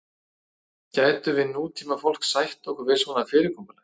gætum við nútímafólk sætt okkur við svona fyrirkomulag